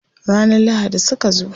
Ranar lahadi suka zo.